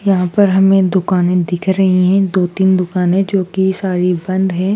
यहाँ पर हमें दुकाने दिख रही है दो तीन दुकाने जो की सारी बंद हैं।